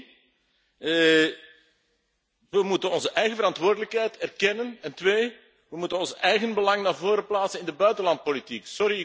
Eén, we moeten onze eigen verantwoordelijkheid erkennen en twee, we moeten ons eigen belang voorop plaatsen in de buitenlandpolitiek.